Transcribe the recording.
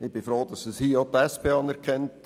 Ich bin froh, dass dies auch die SP anerkennt.